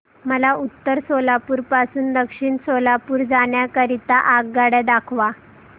मला उत्तर सोलापूर पासून दक्षिण सोलापूर जाण्या करीता आगगाड्या दाखवा